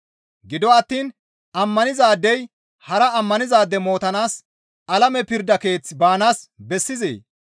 Gido attiin ammanizaadey hara ammanizaade mootanaas alame pirda keeththe baanaas bessizee?